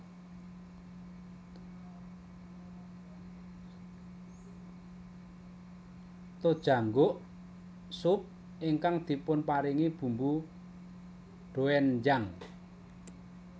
Tojangguk sup ingkang dipunparingi bumbu doenjang